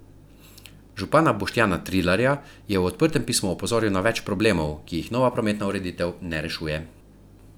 Župana Boštjana Trilarja je v odprtem pismu opozoril na več problemov, ki jih nova prometna ureditev ne rešuje.